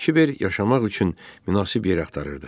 Kiber yaşamaq üçün münasib yer axtarırdı.